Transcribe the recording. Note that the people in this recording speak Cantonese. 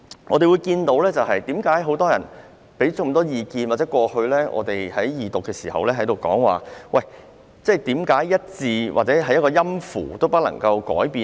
我們聽到很多人提出不少意見，在過去的二讀辯論期間亦有質疑，為何一個字或一個音符也不能改變？